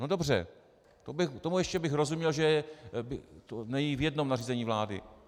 No dobře, tomu ještě bych rozuměl, že to není v jednom nařízení vlády.